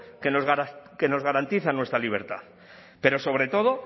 que nos garantiza nuestra libertad pero sobre todo